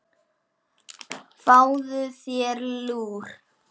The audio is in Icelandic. Fáðu þér lúr.